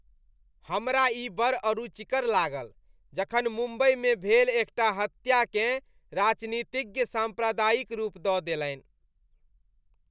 हमरा ई बड़ अरुचिकर लागल जखन मुम्बइमे भेल एकटा हत्याकेँ राजनीतिज्ञ साम्प्रदायिक रूप दऽ देलनि।